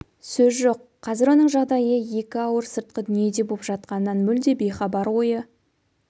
сөз жоқ қазір оның жағдайы екі ауыр сыртқы дүниеде боп жатқанынан мүлде бейхабар ойы